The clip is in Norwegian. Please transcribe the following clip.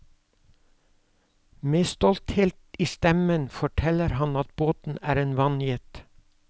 Med stolthet i stemmen forteller han at båten er en vannjet.